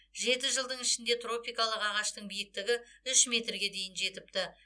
жеті жылдың ішінде тропикалық ағаштың биіктігі үш метрге дейін жетіпті